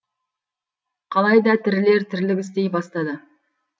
қалай да тірілер тірлік істей бастады